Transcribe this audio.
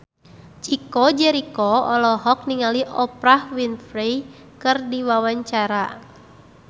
Chico Jericho olohok ningali Oprah Winfrey keur diwawancara